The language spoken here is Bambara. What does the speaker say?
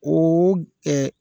O kɛ